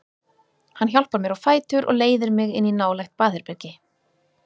Hann hjálpar mér á fætur og leiðir mig inn í nálægt baðherbergi.